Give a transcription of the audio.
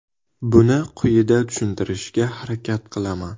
Buni quyida tushuntirishga harakat qilaman.